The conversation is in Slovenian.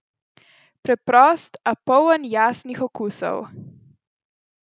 Preprost, a poln jasnih okusov!